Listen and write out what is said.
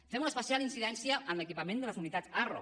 fem una especial incidència en l’equipament de les unitats arro